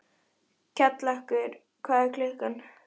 Við þessa sjón kom yfir mig undarleg rósemi og mýkt.